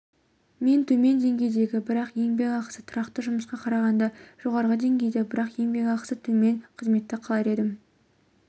мен төмен деңгейдегі бірақ еңбекақысы тұрақты жұмысқа қарағанда жоғары деңгейдегі бірақ еңбекақысы төмен қызметті қалар едім